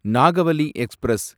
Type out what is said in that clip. Nagavali express